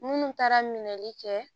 Munnu taara minɛli kɛ